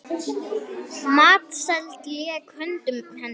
Matseld lék í höndum hennar.